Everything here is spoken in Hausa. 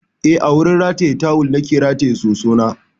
Eh, a wurin rataye tawal na ke rataye sosona.